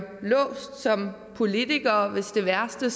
låst som politikere hvis det værste